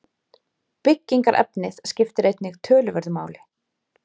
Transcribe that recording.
Byggingarefnið skiptir einnig töluverðu máli.